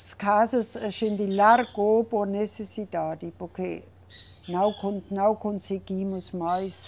Casas a gente largou por necessidade, porque não con, não conseguimos mais.